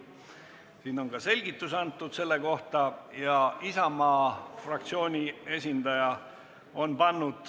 Siin on selle kohta antud ka selgitus.